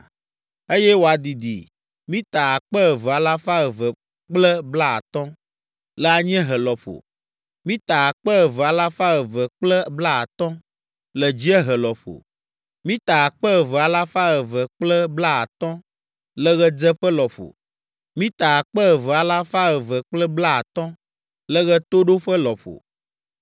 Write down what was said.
eye wòadidi mita akpe eve alafa eve kple blaatɔ̃ (2,250) le anyiehe lɔƒo, mita akpe eve alafa eve kple blaatɔ̃ (2,250) le dziehe lɔƒo, mita akpe eve alafa eve kple blaatɔ̃ (2,250) le ɣedzeƒe lɔƒo, mita akpe eve alafa eve kple blaatɔ̃ (2,250) le ɣetoɖoƒe lɔƒo.